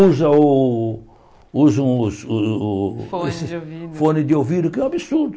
Usa o usa um o o Fone de ouvido Fone de ouvido, que é um absurdo.